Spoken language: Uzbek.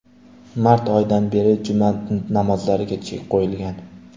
Mart oyidan beri juma namozlariga chek qo‘yilgan .